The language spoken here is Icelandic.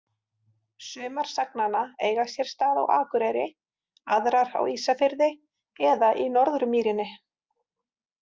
Sumar sagnanna eiga sér stað á Akureyri, aðrar á Ísafirði eða í Norðurmýrinni.